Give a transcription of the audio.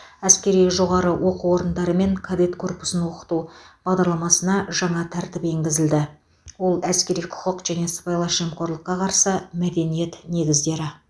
әскери жоғары оқу орындары мен кадет корпусын оқыту бағдарламасына жаңа тәртіп енгізілді ол әскери құқық және сыбайлас жемқорлыққа қарсы мәдениет негіздері